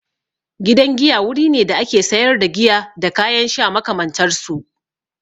Gidan giya wuri ne da ake sayar da giya da kayan sha makamantar su.